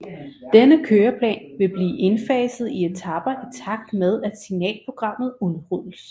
Denne køreplan vil blive indfaset i etaper i takt med at Signalprogrammet udrulles